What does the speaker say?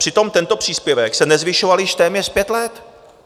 Přitom tento příspěvek se nezvyšoval již téměř pět let.